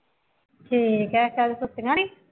ਠੀਕ ਹੈ ਚੱਲ ਸੁੱਤੀਆਂ ਨਹੀਂ